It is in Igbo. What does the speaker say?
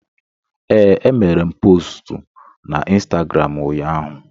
Ee, emere m postu na Ịnstagram ụnyaahụ